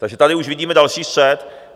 Takže tady už vidíme další střet.